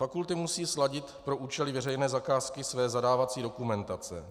Fakulty musí sladit pro účely veřejné zakázky své zadávací dokumentace.